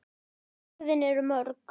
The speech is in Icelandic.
Og svörin eru mörg.